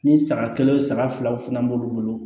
Ni san kelen san filaw fana b'olu bolo